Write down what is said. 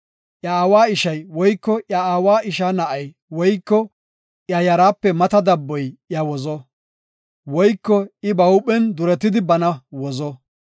Iya aawa ishay, woyko iya aawa ishaa na7ay woyko iya yaraape mata dabboy iya wozo; woyko I ba huuphen duretidi bana wozo.